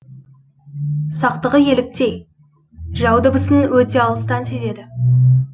сақтығы еліктей жау дыбысын өте алыстан сезеді